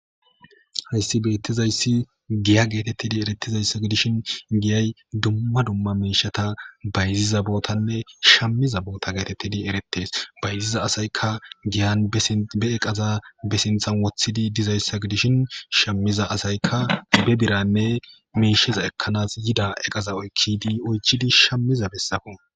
hayssi beettizayssi giya geetettidi erettizayssa gidishin giyay dumma dumma meishata bayziza bootanne shammiza boota geetettidi erettes bayziza asaykka giyan be eqaza be sinthan wothidi dizayssa gidishin shammiza asaykka be biranne meisheza ekkanas yida eqaza oykkidi oychidi shammiza bessako